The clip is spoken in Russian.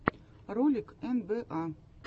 ролик эн бэ а